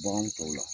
Baganw tɔw la